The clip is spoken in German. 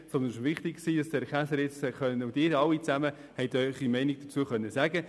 Es war mir jedoch wichtig, dass der Polizeidirektor und auch die Ratsmitglieder ihre Meinung dazu äussern konnten.